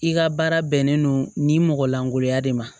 I ka baara bɛnnen don nin mɔgɔ lankolonya de ma